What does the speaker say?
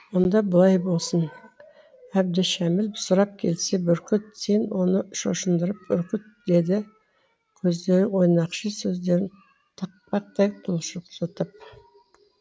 онда былай болсын әбдішәміл сұрап келсе бүркіт сен оны шошындырып үркіт деді көздері ойнақши сөздерін тақпақтай құлжылжытып